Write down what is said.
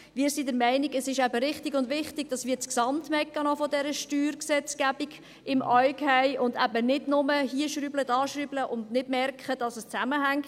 Wir sind der Meinung, dass es eben richtig und wichtig ist, dass wir den Gesamtmechanismus dieser Steuergesetzgebung im Auge haben, und dass wir eben nicht nur hier und dort herumschrauben und nicht merken, dass es zusammenhängt.